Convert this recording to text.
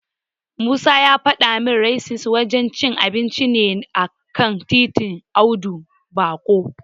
Musa ya fada min Raisins wajen cin abinci ne a kan titin Audu Bako.